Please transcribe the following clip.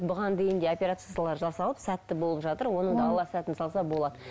бұған дейін де операциялар жасалып сәтті болып жатыр оның да алла сәтін салса болады